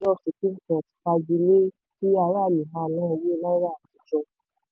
ilé ẹjọ́ supreme court fagilé òfin pé kí aráàlú máa ná owó náírà àtijọ́.